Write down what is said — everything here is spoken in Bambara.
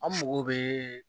An mago bɛ